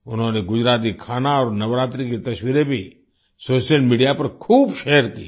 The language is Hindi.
उन्होंने गुजराती खाना और नवरात्रि की तस्वीरें भी सोशल मीडिया पर खूब शेयर कीं